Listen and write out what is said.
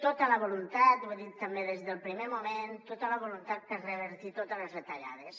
tota la voluntat ho he dit també des del primer moment per revertir totes les retallades